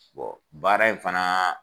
baara in fana